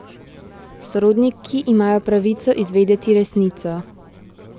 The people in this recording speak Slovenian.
Sorodniki imajo pravico izvedeti resnico!